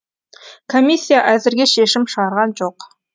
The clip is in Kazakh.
комиссия әзірге шешім шығарған жоқ